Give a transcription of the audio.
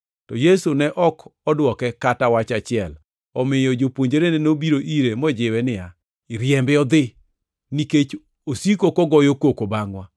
To Yesu ne ok odwoke kata wach achiel. Omiyo jopuonjre nobiro ire mojiwe niya, “Riembe odhi, nikech osiko kogoyo koko bangʼwa.”